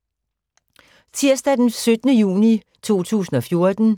Tirsdag d. 17. juni 2014